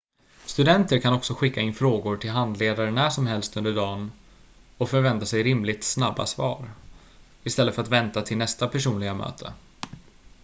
studenter kan också skicka in frågor till handledare när som helst under dagen och förvänta sig rimligt snabba svar istället för att vänta till nästa personliga möte